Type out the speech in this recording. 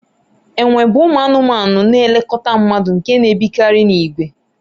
enwe bụ ụmụ anụmanụ na-elekọta mmadụ nke na-ebikarị n'ìgwè